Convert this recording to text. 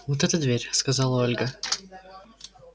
вот эта дверь сказала ольга